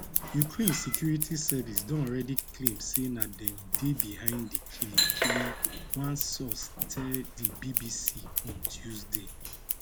ukraine security service don already claim say na dem dey behind di killing killing one source tell di bbc on tuesday